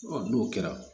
n'o kɛra